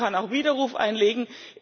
Man kann auch Widerruf einlegen.